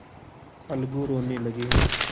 अलगू रोने लगे